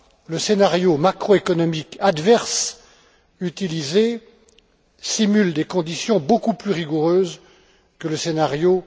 Le scénario macroéconomique adverse utilisé simule des conditions beaucoup plus rigoureuses que le scénario